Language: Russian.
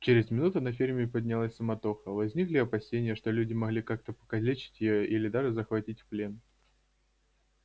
через минуту на ферме поднялась суматоха возникли опасения что люди могли как-то покалечить её или даже захватить в плен